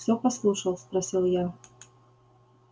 всё послушал спросил я